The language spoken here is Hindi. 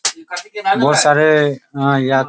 बहुत सारे या --